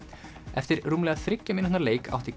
eftir rúmlega þriggja mínútna leik átti